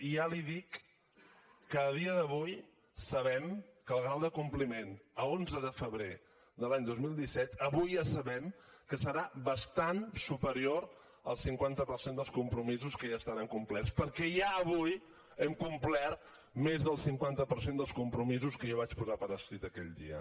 i ja li dic que a dia d’avui sabem que el grau de compliment a onze de febrer de l’any dos mil disset avui ja sabem que serà bastant superior al cinquanta per cent dels compromisos que ja estaran complerts perquè ja avui hem complert més del cinquanta per cent dels compromisos que jo vaig posar per escrit aquell dia